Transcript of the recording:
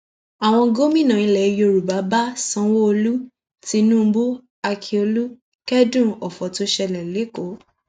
àwọn gómìnà ilẹ yorùbá bá sanwóolu tinubu akiolu kẹdùn ọfọ tó ṣẹlẹ lẹkọọ